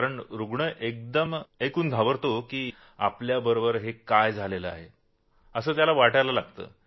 कारण रूग्ण एकदम ऐकून घाबरतो की आपल्याबरोबर हे काय होत आहे असं त्याला वाटत असतं